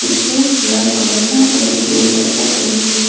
एक जो लाल कलर का और एक ब्लू कलर का पेन के है।